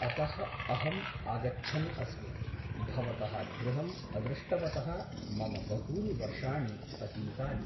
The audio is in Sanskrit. अतः अहम् आगच्छन् अस्मि । भवतः गृहम् अदृष्टवतः मम बहूनि वर्षाणि अतीतानि ।